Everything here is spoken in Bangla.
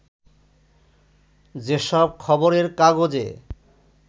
যে সব খবরের কাগজে